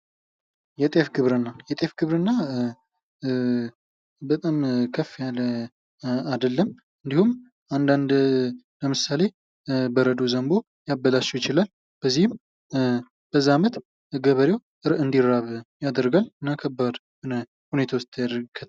የጤፍ ግብርና የጤፍ ግብርና በጣም ከፍ ያለ አይደለም:: እንዲሁም አንዳንድ ለምሳሌ በረዶ ዘንቦ ሊያበላሸው ይችላል:: በዚህም በዚያ አመት ገበሬው እንዲራብ ያደርጋል እና ከባድ የሆነ ሁኔታ ውስጥ ይከታል::